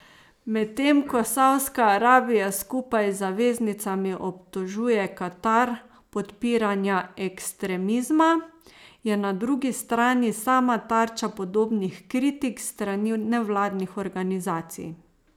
Medtem ko Saudska Arabija skupaj z zaveznicami obtožuje Katar podpiranja ekstremizma, je na drugi strani sama tarča podobnih kritik s strani nevladnih organizacij.